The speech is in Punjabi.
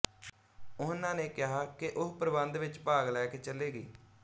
ਉਹਨਾਂ ਨੇ ਕਿਹਾ ਕਿ ਉਹ ਪ੍ਰਬੰਧ ਵਿੱਚ ਭਾਗ ਲੈ ਕੇ ਚੱਲੇਗੀ